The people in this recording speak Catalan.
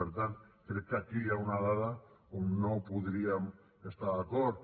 per tant crec que aquí hi ha una dada on no podríem estar d’acord